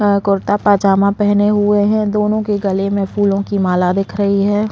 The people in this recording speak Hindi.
और कुर्ता पैजामा पहने हुए है दोनों के गलें में फूलो की माला दिख रही है।